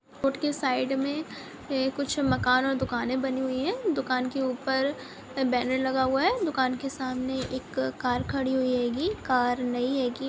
Road के side में ये कुछ मकान और दुकाने बनी हुई दुकान के बैनर लगा हुआ है दुकान के सामने एक कार खड़ी हुए है हेगी कार नई हेगी।